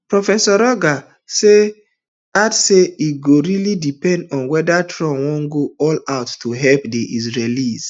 prof rogers add say e go really depend on weda trump wan go all out to help di israelis